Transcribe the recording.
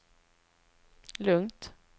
lugnt